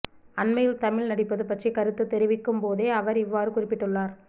அண்மையில் தமிழில் நடிப்பது பற்றி கருத்து தெரிவிக்கும் போதே அவர் இவ்வாறு குறிப்பிட்டுள்ளார்